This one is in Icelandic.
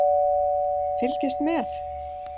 Fylgist með!